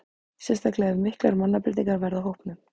Sérstaklega ef að miklar mannabreytingar verða á hópnum.